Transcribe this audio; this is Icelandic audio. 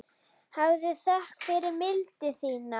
Hafðu þökk fyrir mildi þína.